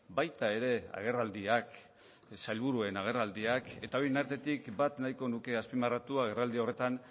baita ere agerraldiak sailburuen agerraldiak eta horien artetik bat nahiko nuke azpimarratu agerraldi horretan